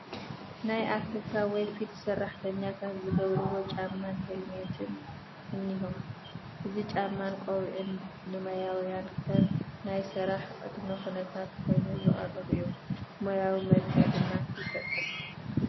ናይ ፋብሪካ ወይ ፊልድ ሰራሕተኛታት ዝገብርዎ ጫማን ሄልሜትን እኒሆ፡፡ እዚ ጫማን ቆቢዕን ንሞያውያን ከም ናይ ስራሕ ቅድመ ኩነታ ኮይኑ ዝቐርብ እዩ፡፡ ሙያዊ መልክዕ ድማ ይፈጥር፡፡